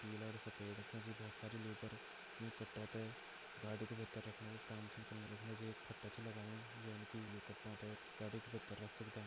पिला और सफेद यक मजी बोहोत सारे लेबर यु कट्टो ते गाड़ी के भीतर रखणो को काम छ कन्न लगया यक मजी एक फट्टा च लगायु जेन की यु कट्टो ते गाड़ी के भित्तर रख सकदां।